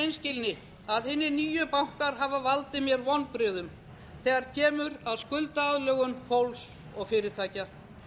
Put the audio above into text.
í hreinskilni að hinir nýju bankar hafa valdið mér vonbrigðum þegar kemur að skuldaaðlögun fólks og fyrirtækja